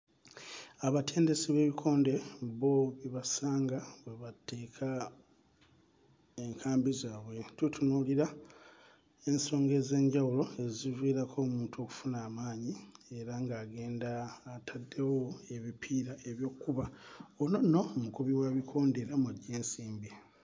Abatendesi b'ebikonde bo we basanga we bateeka enkambi zaabwe. Tutunuulira ensonga ez'enjawulo eziviirako omuntu okufuna amaanyi era ng'agenda ataddewo ebipiira eby'okkuba. Ono nno mukubi wa bikonde era mw'aggya ensimbi.